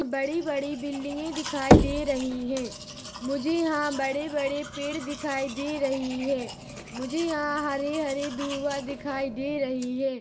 बड़ी-बड़ी बिल्डिंगे दिखाई दे रही है मुझे यहाँ बड़े-बड़े पेड़ दिखाई दे रही है मुझे यहाँ हरे-हरे दुवा दिखाई दे रही है।